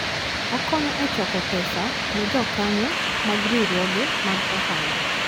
Okonyo e choko pesa ne jokanyo mag riwruoge mag ohala.